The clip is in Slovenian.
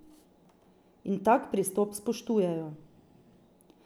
In tak pristop spoštujejo.